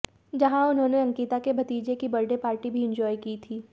जहां उन्होंने अंकिता के भतीजे की बर्थडे पार्टी भी एन्जॉय की थी